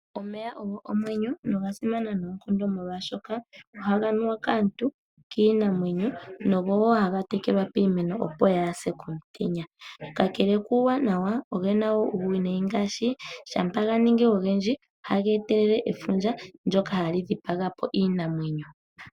Omeya ogo omwenyo, noga simana noonkondo molwaashoka, ohaga nuwa kaantu, kiinamwenyo, nogo wo haga tekelwa piimeno opo yaase komutenya. Kakele kuuwanawa, ogena wo uuwinayi ngaashi, shampa ganingi ogendji, ohaga etelele efundja ndyoka hali dhipaga po iinamwenyo.